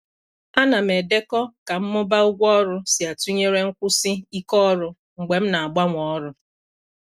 Ana m edekọ ka mmụba ụgwọ ọrụ si atụnyere nkwụsi ike ọrụ mgbe m na-agbanwe ọrụ.